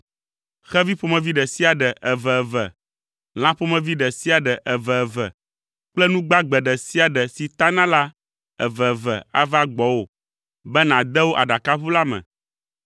Xevi ƒomevi ɖe sia ɖe, eveve, lã ƒomevi ɖe sia ɖe eveve kple nu gbagbe ɖe sia ɖe si tana la eveve ava gbɔwò be nàde wo aɖakaʋu la me.